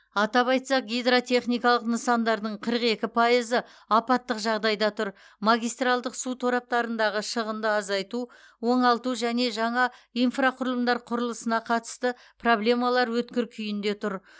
атап айтсақ гидротехникалық нысандардың қырық екі пайызы апаттық жағдайда тұр магистральдық су тораптарындағы шығынды азайту оңалту және жаңа инфрақұрылымдар құрылысына қатысты проблемалар өткір күйінде тұр